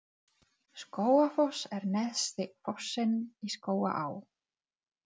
Skógafoss er neðsti fossinn í Skógaá.